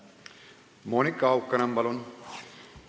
Monika Haukanõmm, palun!